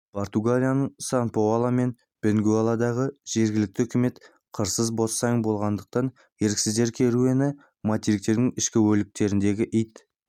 португалияның сан-паоло мен бенгуэлладағы жергілікті үкіметтері қырсыз босаң болғандықтан еріксіздер керуені материктің ішкі өлкелеріндегі ит